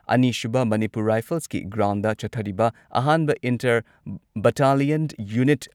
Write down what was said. ꯑꯅꯤꯁꯨꯕ ꯃꯅꯤꯄꯨꯔ ꯔꯥꯏꯐꯜꯁꯀꯤ ꯒ꯭ꯔꯥꯎꯟꯗ ꯆꯠꯊꯔꯤꯕ ꯑꯍꯥꯟꯕ ꯏꯟꯇꯔ ꯕꯠꯇꯥꯂꯤꯌꯟ ꯌꯨꯅꯤꯠ